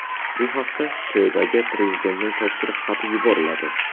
Bu haqda sho‘baga Prezidentning topshiriq xati yuboriladi .